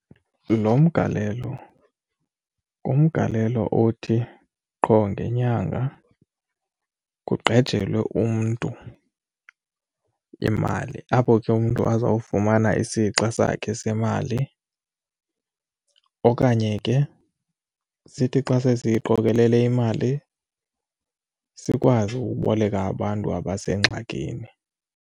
Lo mgalelo, ngumgalelo othi qho ngenyanga kugqejelwe umntu imali apho ke umntu azawufumana isixa sakhe semali okanye ke sithi xa sesiyiqokelele imali sikwazi uboleka abantu abasengxakini.